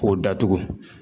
K'o datugu.